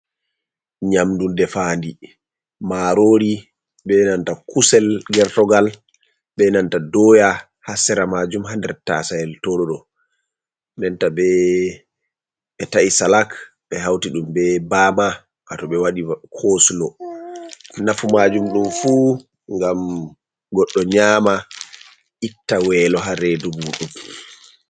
Nyamdu defandi marori be nanta kusel gertugal be nanta doya, ha sera majum bo tasayel tow ɗoɗo denta be ta’i salak be hauti ɗum be bama wa tow ɓe waɗi cosulo, nafu majum ɗum fu ngam goɗɗo nyama itta welo ha redu muɗum.